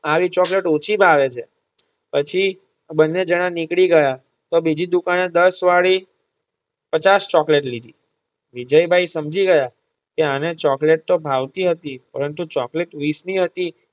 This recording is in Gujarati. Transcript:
આવી ચોકલેટ ઓછી ભાવે છે પછી બંને જણા નીકળી ગયા તો બીજી દુકાને દસ વાળી પચાસ ચોકલેટ લીધી. વિજયભાઇ સમજી ગયા કે આને ચોકલેટ તો ભાવતી હતી પરંતુ ચોકલેટ વીસની હતી